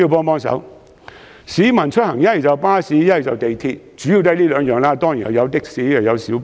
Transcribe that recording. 目前，市民出行主要乘坐巴士或利用鐵路，當然還有的士和小巴。